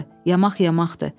Yamaq-yamaqdır.